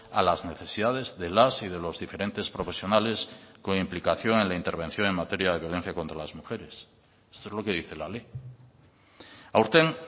a las necesidades de las y de los diferentes profesionales con implicación en la intervención en materia de violencia contra las mujeres esto es lo que dice la ley aurten